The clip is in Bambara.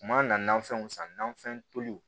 Kuma nafɛnw san nafɛn toliw